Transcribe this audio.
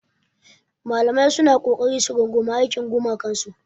Malamai suna ƙoƙari su rungumi aikin gumakansu.